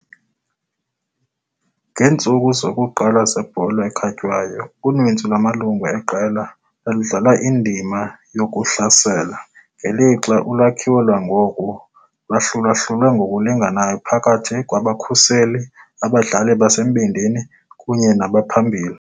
Ngeentsuku zokuqala zebhola ekhatywayo, uninzi lwamalungu eqela lwaludlala indima yokuhlasela, ngelixa ulwakhiwo lwangoku lwahlulahlulwe ngokulinganayo phakathi kwabakhuseli, abadlali basembindini kunye nabaphambili.